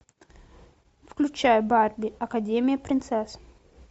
включай барби академия принцесс